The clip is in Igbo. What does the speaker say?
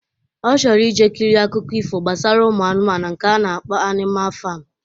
Ọ chọrọ ije kirie akụkọ ifo gbasara ụmụ anụmanụ nke a na-akpọ Anima fam.